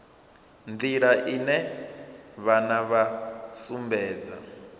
nḓila ine vhana vha sumbedza